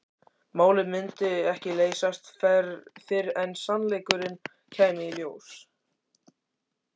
Málið myndi ekki leysast fyrr en sannleikurinn kæmi í ljós.